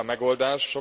Tudjuk a megoldást.